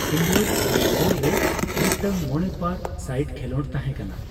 Indore netball ᱨᱮ ᱢᱤᱫᱴᱟᱝ ᱢᱚᱬᱮᱼᱯᱟᱨᱼᱥᱟᱭᱤᱰ ᱠᱷᱮᱞᱳᱰ ᱛᱟᱦᱮᱸ ᱠᱟᱱᱟ ᱾